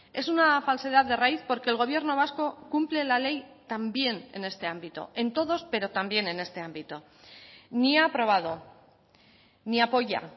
es una falsedad de raíz porque el gobierno vasco cumple la ley también en este ámbito en todos pero también en este ámbito ni ha aprobado ni apoya